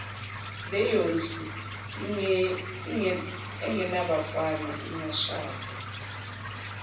leyondlu engenabafana ingashada